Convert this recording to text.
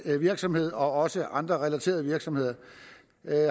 virksomhed og også andre relaterede virksomheder